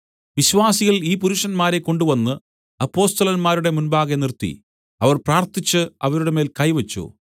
വിശ്വാസികൾ ഈ പുരുഷന്മാരെ കൊണ്ടുവന്ന് അപ്പൊസ്തലന്മാരുടെ മുമ്പാകെ നിർത്തി അവർ പ്രാർത്ഥിച്ച് അവരുടെ മേൽ കൈവച്ചു